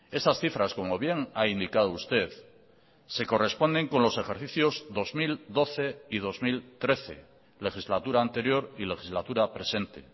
esas cifras como bien ha indicado usted se corresponden con los ejercicios dos mil doce y dos mil trece legislatura anterior y legislatura presente